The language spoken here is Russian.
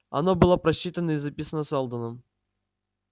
оно было просчитано и записано сэлдоном